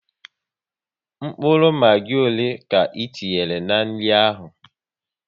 Mkpụrụ Magi ọle ka e tinyere n'nri ahụ?